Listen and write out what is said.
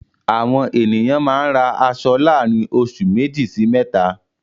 Àwọn ènìyàn máa ń ra aṣọ láàrin oṣù méjì sí mẹ́ta.